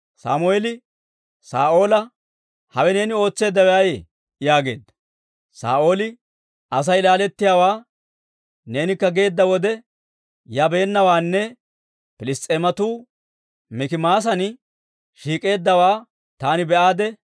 Sammeeli Saa'oola, «Hawe neeni ootseeddawe ayee?» yaageedda. Saa'ooli, «Asay laalettiyaawaa, neenikka geedda wode yabeennawaanne Piliss's'eematuu Mikimaasan shiik'eeddaawaa taani be'aade,